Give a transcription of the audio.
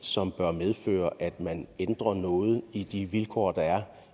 som bør medføre at man ændrer noget i de vilkår der er